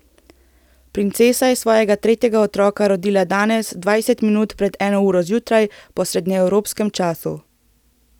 Princesa je svojega tretjega otroka rodila danes dvajset minut pred eno uro zjutraj po srednjeevropskem času.